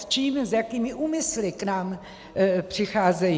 S čím, s jakými úmysly k nám přicházejí?